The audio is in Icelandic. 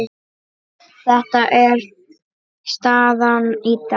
Þetta er staðan í dag.